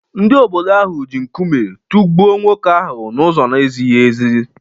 Ndị obodo ahụ ji nkume tụgbuo nwoke ahụ n’ụzọ na-ezighị ezi.